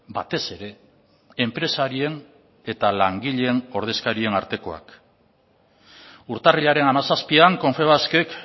batez ere enpresarien eta langileen ordezkarien artekoak urtarrilaren hamazazpian confebaskek